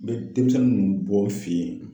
N be demisɛnnin ninnu bɔ n fe ye